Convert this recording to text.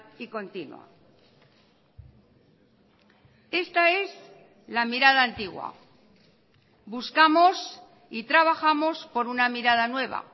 y continua esta es la mirada antigua buscamos y trabajamos por una mirada nueva